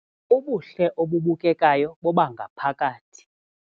Ubuhle obubukekayo bobangaphakathi.